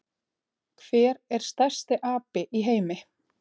Hver er stærsti api í heimi?